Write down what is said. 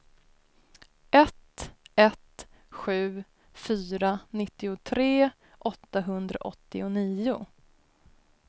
ett ett sju fyra nittiotre åttahundraåttionio